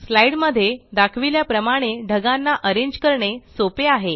slide मध्ये दाखविल्या प्रमाणे ढगांना अरेंज करणे सोपे आहे